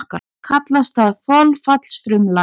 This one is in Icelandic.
Kallast það þolfallsfrumlag.